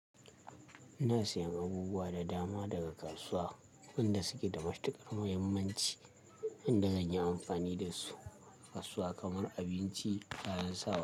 Ina siyan abubuwa da dama daga kasuwa, wa'inda suke da matiƙar mahimmanci inda zan yi amfani dasu. Kasuwa kamar abinci, kayan sawa.